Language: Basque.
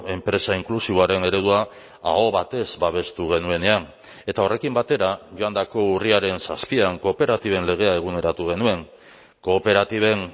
enpresa inklusiboaren eredua aho batez babestu genuenean eta horrekin batera joandako urriaren zazpian kooperatiben legea eguneratu genuen kooperatiben